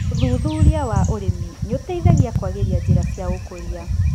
ũthuthuria wa ũrĩmi nĩũteithagia kwagĩria njĩra cia ũkũria.